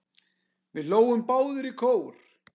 Við hlógum báðar í kór.